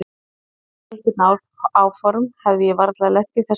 Hefði ég haft einhver áform hefði ég varla lent í þessari klípu.